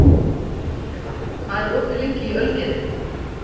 Snævarr, hvað er opið lengi í Ölgerðinni?